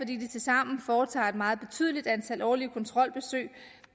de tilsammen foretager et meget betydeligt antal årlige kontrolbesøg